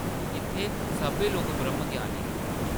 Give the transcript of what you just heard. इत्थै सब्भै लोक ब्रह्मज्ञानी न ।